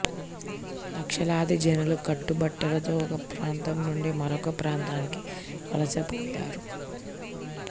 లక్షలాది జనులు కట్టుబట్టలతో ఒక ప్రాంతంనుండి మరొక ప్రాంతానికి వలస పోయారు